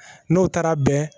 N'o taara bɛn